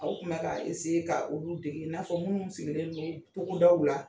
Aw kun ka ka olu dege i n'a fɔ minnu sigilen do togodaw la.